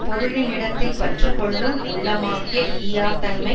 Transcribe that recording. பொருளினிடத்தில் பற்று கொள்ளும் உள்ளமாகிய ஈயாத்தன்மை